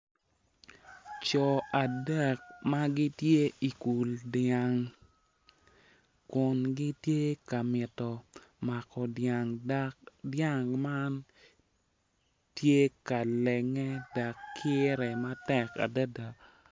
Co adek ma gitye ikul dyang kun gitye ka mito mako dyang dok dyang man tye ka lenge dok kire matek adada.